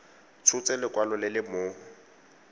tshotse lekwalo le le mo